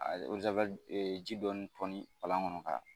ji dɔɔni tɔni palan kɔnɔ ka